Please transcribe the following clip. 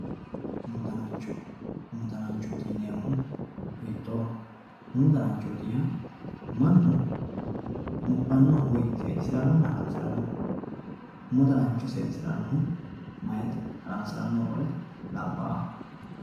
umu danancho umu dananchooti yiineemmo woyte umu dananchooti yaa mnnu mudhannoho woy seedisirannonna haransiranno umu danancho seedisirannohu mayete haransirannohu qole meyate